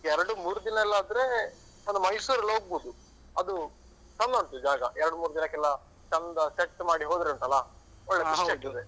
ಎರಡು ಮೂರು ದಿನ ಎಲ್ಲ ಆದ್ರೆ ಒಂದು ಮೈಸೂರು ಎಲ್ಲ ಹೋಗ್ಬೋದು. ಅದು ಚಂದ ಉಂಟು ಜಾಗ ಎರಡು ಮೂರು ದಿನಕ್ಕೆಲ್ಲ ಚಂದ set ಮಾಡಿ ಹೋದ್ರೆ ಉಂಟಲಾ ಒಳ್ಳೆ ಖುಷಿ ಆಗ್ತದೆ.